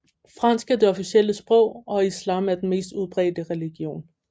Fransk er det officielle sprog og islam er den mest udbredte religion